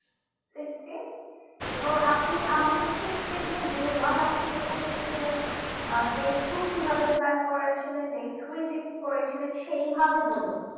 six days এবং আপনি আমাকে six days যে day one আপনি কোথায় গেছিলেন আহ day two কিভাবে plan করেছিলেন day three কি করে ছিলেন সেই ভাবেই বলুন